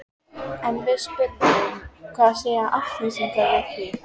En við spyrjum hvað segja Álftnesingar við því?